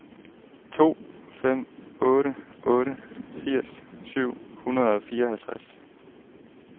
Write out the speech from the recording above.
to fem otte otte firs syv hundrede og fireoghalvtreds